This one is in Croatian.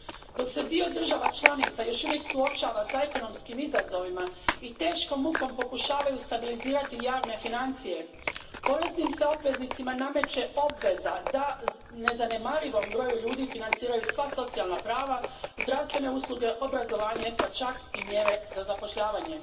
Dok se dio država članica još uvijek suočava s ekonomskim izazovima i teškom mukom pokušavaju stabilizirati javne financije, poreznim se obveznicima nameće obveza da nezanemarivom broju ljudi financiraju sva socijalna prava, zdravstvene usluge, obrazovanje, pa čak i mjere za zapošljavanje.